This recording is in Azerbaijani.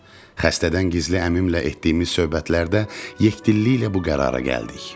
Xəstədən gizli əmimlə etdiyimiz söhbətlərdə yekdilliklə bu qərara gəldik.